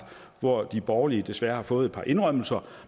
hvor de borgerlige desværre har fået et par indrømmelser